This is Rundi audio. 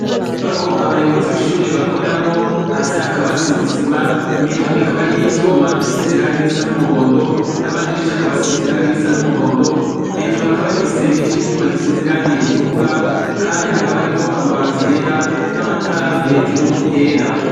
Inyubako abayobozi b'ishuri bakoreramwo . Hasi hakaba hasize isima , imiryango ikaba ariy'ivyuma isize irangi risa n'umuhondo , n'amadirisha akaba asize irangi risa n'umuhondo. Hejuru hakaba har'igisenge c'ivyuma gisize irangi ritukura , kandi hakaba hariko amabati yera n'amatara hejuru yera.